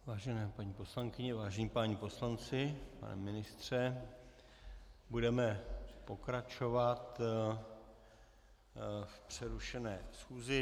Vážené paní poslankyně, vážení páni poslanci, pane ministře, budeme pokračovat v přerušené schůzi.